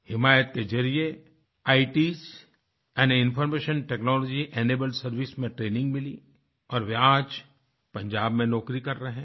हिमायत के ज़रिये आइट्स यानी इन्फॉर्मेशन टेक्नोलॉजिनेबल्ड servicesमें ट्रेनिंग मिली और वे आज पंजाब में नौकरी कर रहे हैं